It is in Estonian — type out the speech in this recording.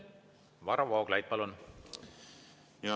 Varro Vooglaid, palun!